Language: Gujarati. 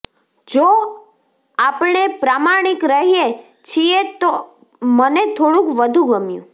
જો આપણે પ્રામાણિક રહીએ છીએ તો મને થોડુંક વધુ ગમ્યું